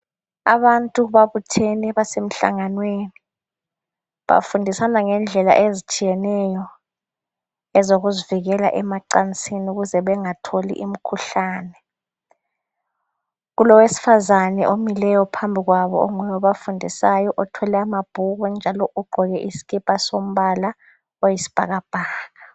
Abantu babuthene basemhlanganweni bafundisana ngendlela ezitshiyeneyo ezokuzivikela emacansini ukuze bengatholi imikhuhlane kulowesifazana omileyo phambi kwabo onguye obafundisayo othwele amabhuku njalo ugqoke isikipa sombala oyisibhakabhaka.